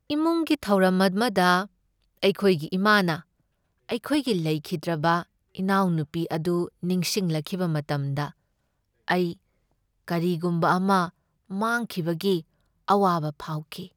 ꯏꯃꯨꯡꯒꯤ ꯊꯧꯔꯝ ꯑꯃꯗ ꯑꯩꯈꯣꯏꯒꯤ ꯏꯃꯥꯅ ꯑꯩꯈꯣꯏꯒꯤ ꯂꯩꯈꯤꯗ꯭ꯔꯕ ꯏꯅꯥꯎꯅꯨꯄꯤ ꯑꯗꯨ ꯅꯤꯡꯁꯤꯡꯂꯛꯈꯤꯕ ꯃꯇꯝꯗ ꯑꯩ ꯀꯔꯤꯒꯨꯝꯕ ꯑꯃ ꯃꯥꯡꯈꯤꯕꯒꯤ ꯑꯋꯥꯕ ꯐꯥꯎꯈꯤ꯫